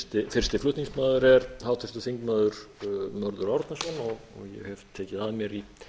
fyrsti flutningsmaður er háttvirtur þingmaður mörður árnason og ég hef tekið að mér í